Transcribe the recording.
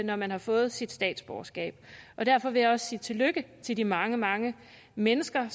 når man har fået sit statsborgerskab og derfor vil jeg også sige tillykke til de mange mange mennesker